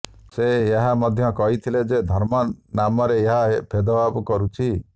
ସେ ଏହା ମଧ୍ୟ କହିଥିଲେ ଯେ ଧର୍ମ ନାମରେ ଏହା ଭେଦଭାବ କରୁଛି